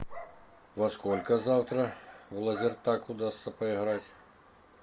во сколько завтра в лазертаг удастся поиграть